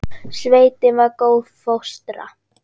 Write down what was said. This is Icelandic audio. Sveitin var góð fóstra.